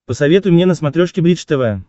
посоветуй мне на смотрешке бридж тв